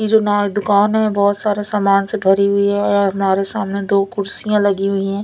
येजो न दुकान है बहोत सारे सामान से भरी हुई है और नारे सामने दो कुड्सिया लगी हुई है।